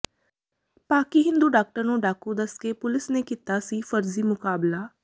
ਪਾਕਿ ਹਿੰਦੂ ਡਾਕਟਰ ਨੂੰ ਡਾਕੂ ਦੱਸ ਕੇ ਪੁਲਿਸ ਨੇ ਕੀਤਾ ਸੀ ਫਰਜ਼ੀ ਮੁਕਾਬਲਾ